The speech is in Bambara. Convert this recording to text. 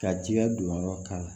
Ka jiɲɛ donyɔrɔ k'a la